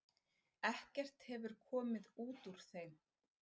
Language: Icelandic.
Ekkert hefur komið út úr þeim.